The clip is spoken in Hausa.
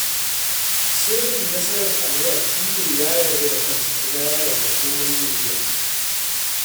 Sirrin nasarar Anwar shi ne ya yarda da kansa kuma ya yarda komai zai iya